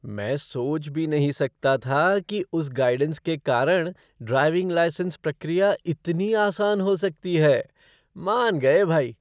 मैं सोच भी नहीं सकता था कि उस गाइडेंस के कारण ड्राइविंग लाइसेंस प्रक्रिया इतनी आसान हो सकती है। मान गए भाई!